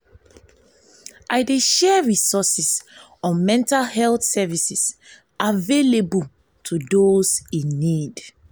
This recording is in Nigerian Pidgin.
i dey share resources on mental health services available to those in need.